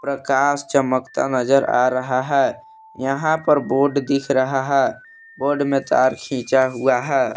और कांच चमकता हुआ नजर आ रहा है यहीं पे बोर्ड दिख रहा है बोर्ड में तर खींचा हुआ है।